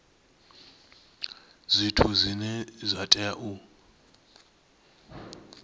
zwithu zwine zwa tea u